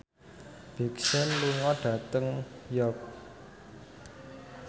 Big Sean lunga dhateng York